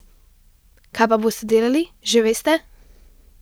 Kaj pa boste delali, že veste?